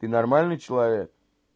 ты нормальный человек